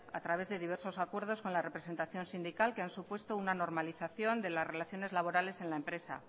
a través de diversos acuerdos con la representación sindical que han supuesto una normalización de las relaciones laborales en la empresa